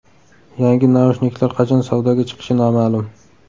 Yangi naushniklar qachon savdoga chiqishi noma’lum.